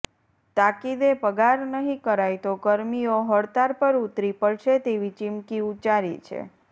તાકિદે પગાર નહી કરાય તો કર્મીઓ હડતાળ પર ઉતરી પડશે તેવી ચીમકી ઉચ્ચારી છે